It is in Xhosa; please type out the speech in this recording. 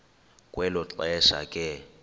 kwelo xesha ke